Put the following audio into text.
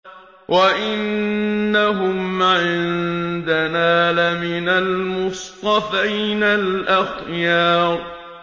وَإِنَّهُمْ عِندَنَا لَمِنَ الْمُصْطَفَيْنَ الْأَخْيَارِ